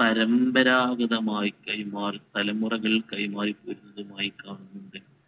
പരമ്പരാഗതമായി കൈമാറി തലമുറകൾ കൈമാറിപോരുന്നതുമായി കാണുന്നുണ്ട്